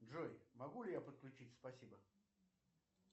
джой могу ли я подключить спасибо